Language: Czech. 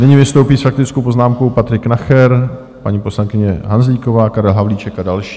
Nyní vystoupí s faktickou poznámkou Patrik Nacher, paní poslankyně Hanzlíková, Karel Havlíček a další.